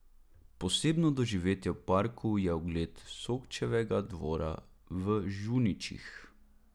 Posebno doživetje v parku je ogled Šokčevega dvora v Žuničih.